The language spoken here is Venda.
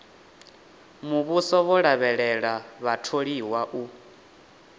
muvhuso vho lavhelela vhatholiwa u